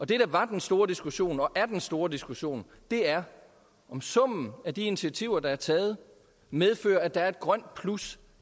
det der var den store diskussion og er den store diskussion er om summen af de initiativer der er taget medfører at der er et grønt plus